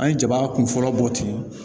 An ye jaba kun fɔlɔ bɔ ten